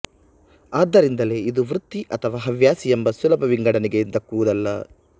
ಆದ್ದರಿಂದಲೇ ಇದು ವೃತ್ತಿ ಅಥವಾ ಹವ್ಯಾಸಿ ಎಂಬ ಸುಲಭ ವಿಂಗಡನೆಗೆ ದಕ್ಕುವುದಲ್ಲ